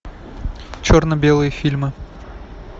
черно белые фильмы